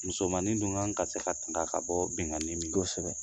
Musomani dun kan ka se ka tanga ka bɔ bɛnnen min kosɛbɛ